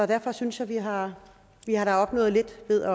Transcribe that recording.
derfor synes jeg vi har har opnået lidt ved